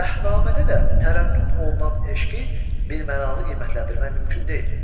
Dəhnamədə də təranüm olunan eşqi birmənalı qiymətləndirmək mümkün deyil.